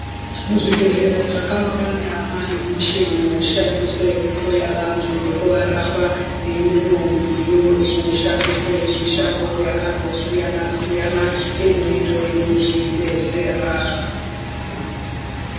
Muzvibhedhelera zvakawanda manemichini inoshandiswe kuhloya vantu nekuvarapa neimweniwo midziyo inoshandiswe mishando yakandosiyana siyana inoitwe muzvibhedhlera.